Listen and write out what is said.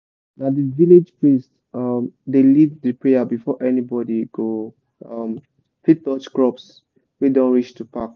na the village priest um dey lead the prayer before anybody go um fit touch crops wey don reach to pack